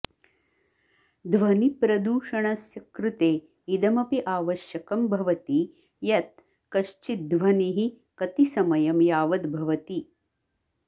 ध्वनिप्रदूषणस्य कृते इदमपि आवश्यकं भवति यत् कश्चिद् ध्वनिः कति समयं यावद् भवति